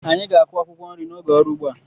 Anyị ga-akụ akwụkwọ nri n'oge ọrụ ugbo a.